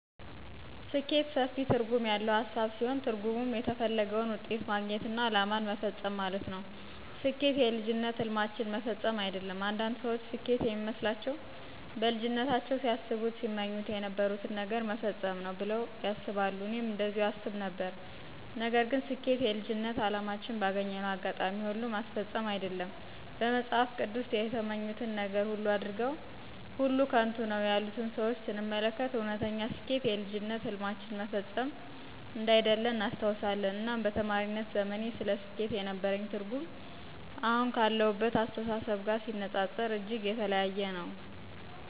ስኬት ሰፊ ትርጉም ያለው ሃሳብ ሲሆን ትርጉሙም የተፈለገውን ውጤት ማግኘትና አላማን መፈፀም ማለት ነው። ስኬት የልጅነት ህልማችንን መፈፀም አይደለም። አንዳንድ ሰዎች ስኬት የሚመስላቸው በልጅነታቸው ሲያስቡት ሲመኙ የነበሩትን ነገር መፈፀም ነው ብለው ያስባሉ እኔም እንደዚሁም አስብ ነበር። ነገር ግን ስጀኬት የልጅነት አላማችንን ባገኘነው አጋጣሚ ሁሉ ማስፈፀም አይደለም። በመፅሃፍ ቅዱስ የተመኙትን ነገር ሁሉ አድርገው ሁሉ ከንቱ ነው ያሉትን ሰዎች ስንመለከት እወነተኛ ስኬት የልጅነት ህልማችንን መፈፀም አንዳይደለ እናስተውላለን። እናም በተማሪነት ዘመኔ ስለ ስኬት የነበረኝ ትርጉም አሁን ካለሁበት አስተሳሰብ ጋር ሲነፃፀር እጅግ የተለያየ ነው።